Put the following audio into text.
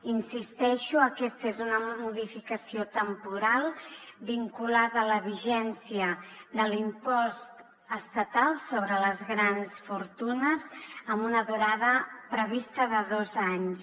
hi insisteixo aquesta és una modificació temporal vinculada a la vigència de l’impost estatal sobre les grans fortunes amb una durada prevista de dos anys